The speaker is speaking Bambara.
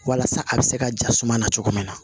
Walasa a bɛ se ka ja suma na cogo min na